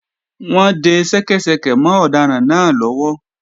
Wọ́n ń de ṣẹ́kẹ́ṣẹkẹ̀ mọ́ ọ̀daràn náà lọ́wọ́